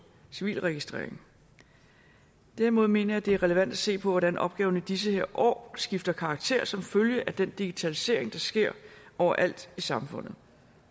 civilregistreringen derimod mener jeg at det er relevant at se på hvordan opgaverne i disse år skifter karakter som følge af den digitalisering der sker overalt i samfundet